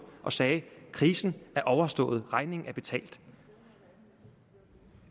og sagde krisen er overstået regningen er betalt